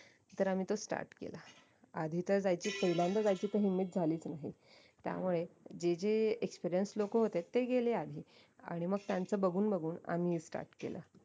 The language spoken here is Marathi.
तर आम्ही तो start केला आधी तर जायची पाहलियांदा जायची तर हिंमत झालीच नाही त्यामुळे जे जे experience लोक होते ते गेले आधी आणि मग त्यांचं बघून बघून आम्ही ही start केलं